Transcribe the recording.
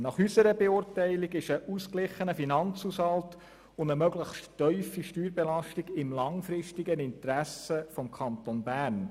Nach unserer Beurteilung liegen ein ausgeglichener Finanzhaushalt und eine möglichst tiefe Steuerbelastung im Interesse des Kantons Bern.